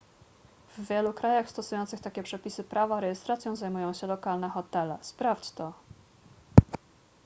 w wielu krajach stosujących takie przepisy prawa rejestracją zajmują się lokalne hotele sprawdź to